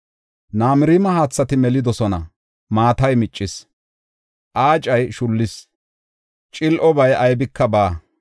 Namirima haathati melidosona; maatay miccis; aacay shullis; cil7obay aybika baawa.